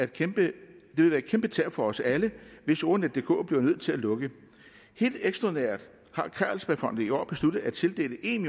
kæmpe tab for os alle hvis ordnetdk bliver nødt til at lukke helt ekstraordinært har carlsbergfondet i år besluttet at tildele en